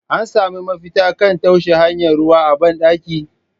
An sami mafita kan taushewa hanyar ruwa a ban dakin?.